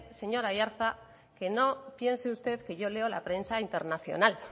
señor aiartza que no piense usted que yo leo la prensa internacional